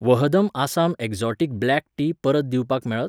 वहदम Assam exotic black tea परत दिवपाक मेळत?